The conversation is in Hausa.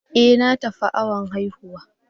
E! Na tafi awon haihuwa.